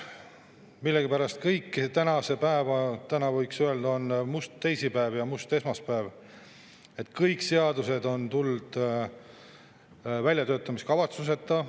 Millegipärast kõik tänase päeva seadused – täna võiks öelda, on meil on olnud must esmaspäev ja must teisipäev – on tulnud väljatöötamiskavatsuseta.